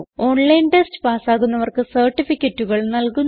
online test പാസ്സാകുന്നവർക്ക് സർട്ടിഫികറ്റുകൾ നല്കുന്നു